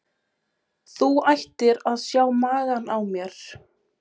Þú ættir að sjá magann á mér.